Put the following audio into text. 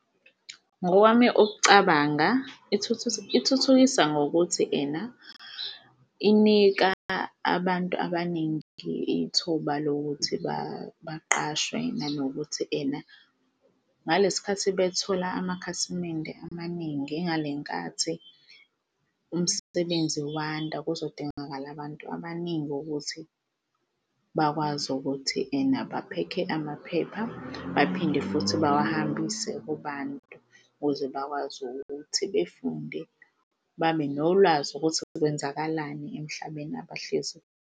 Ngokwami ukucabanga ithuthukisa ngokuthi ena inika abantu abaningi ithuba lokuthi baqashwe nanokuthi ena ngalesikhathi bethola amakhasimende amaningi ingalenkathi umsebenzi wanda kuzodingakala abantu abaningi ukuthi bakwazi ukuthi ena baphekhe amaphepha baphinde futhi bawahambise kubantu ukuze bakwazi ukuthi befunde babe nolwazi ukuthi kwenzakalani emhlabeni abahlezi.